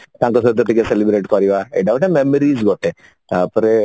ତାଙ୍କ ସହିତ ଟିକେ celebrate କରିବା ଏଟା ଗୋଟେ memories ଗୋଟେ